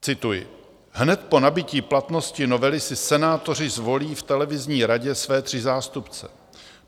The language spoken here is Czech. Cituji: "Hned po nabytí platnosti novely si senátoři zvolí v televizní radě své tři zástupce.